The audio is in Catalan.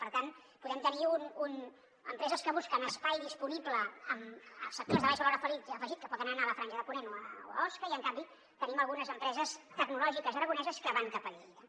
per tant podem tenir empreses que busquen espai disponible en sectors de baix valor afegit que poden anar a la franja de ponent o a osca i en canvi tenim algunes empreses tecnològiques aragoneses que van cap a lleida